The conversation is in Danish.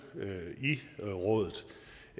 i rådet